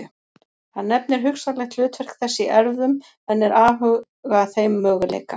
Hann nefnir hugsanlegt hlutverk þess í erfðum en er afhuga þeim möguleika.